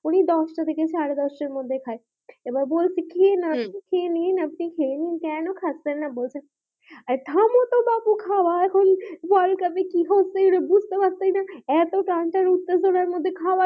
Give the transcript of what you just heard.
উনি দশটা থেকে সাড়ে দশটা মধ্যে খাই আবার বলছি হম খেয়ে নিন আপনি খেয়ে নিন কেন খাচ্ছেন না বসে আরে থামো তো বাপু খাওয়া এখন world cup এ কি হচ্ছে বুঝতে পারছি না এতো টানটান উত্তাজনার মধ্যে খাওয়া,